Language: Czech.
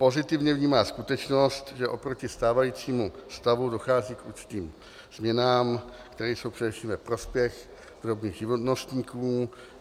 Pozitivně vnímá skutečnost, že oproti stávajícímu stavu dochází k určitým změnám, které jsou především ve prospěch drobných živnostníků.